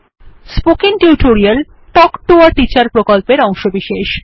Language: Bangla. spoken tutorial talk to a teacher প্রকল্পের অংশবিশেষ